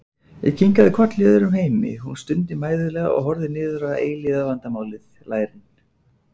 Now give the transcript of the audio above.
Ég kinkaði kolli í öðrum heimi, hún stundi mæðulega og horfði niður á eilífðarvandamálið, lærin.